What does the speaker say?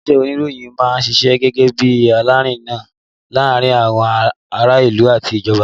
Ilé-iṣẹ́ oníròyìn máa ń ṣiṣẹ́ gẹ́gẹ́ bí alárinà láàárín àwọn ará ìlú àti ìjọba